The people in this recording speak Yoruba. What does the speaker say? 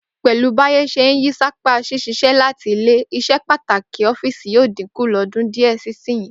Pè̩lú báyé s̩e ń yí sápá s̩ís̩is̩é̩ láti ilé, ìs̩epàtàkì ó̩fíìsì yóò dínkù lọ́dún díè̩ sí ìsinyìí